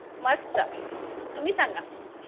मस्त तुम्ही सांगा.